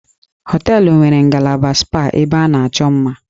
Hóteélụ̀ nwere ngalaba spa ebe a na-achọ mma